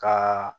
Ka